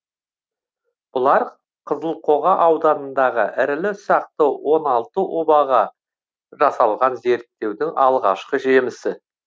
бұлар қызылқоға ауданындағы ірілі ұсақты он алты обаға жасалған зерттеудің алғашқы жемісі